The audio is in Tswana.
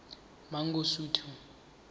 mangosuthu